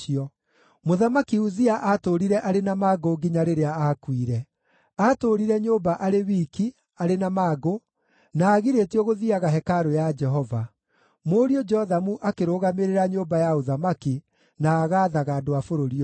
Mũthamaki Uzia aatũũrire arĩ na mangũ nginya rĩrĩa aakuire. Aatũũrire nyũmba arĩ wiki, arĩ na mangũ, na agirĩtio gũthiiaga hekarũ ya Jehova. Mũriũ Jothamu akĩrũgamĩrĩra nyũmba ya ũthamaki, na agaathaga andũ a bũrũri ũcio.